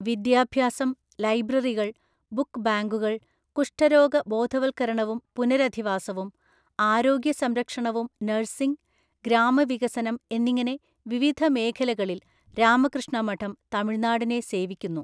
വിദ്യാഭ്യാസം, ലൈബ്രറികൾ, ബുക്ക് ബാങ്കുകൾ, കുഷ്ഠരോഗ ബോധവൽക്കരണവും പുനരധിവാസവും, ആരോഗ്യ സംരക്ഷണവും നഴ്സിങ്, ഗ്രാമവികസനം എന്നിങ്ങനെ വിവിധ മേഖലകളിൽ രാമകൃഷ്ണ മഠം തമിഴ്നാടിനെ സേവിക്കുന്നു.